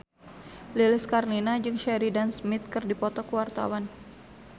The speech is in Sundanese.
Lilis Karlina jeung Sheridan Smith keur dipoto ku wartawan